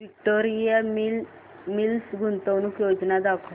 Victoria Mills गुंतवणूक योजना दाखव